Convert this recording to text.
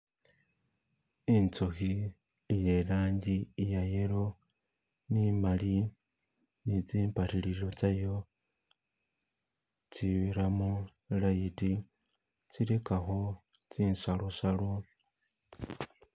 Inzukhi ye langi iya yellow ni mali ni zimbaririlo tsayo tsibiramo light tsiligakho tsi salosalo